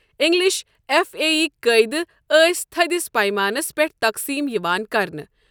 English F A یِک قٲیدٕ ٲسۍ تٔھدِس پَیمانَس پٮ۪ٹھ تقسیٖم یِوان کرنہٕ۔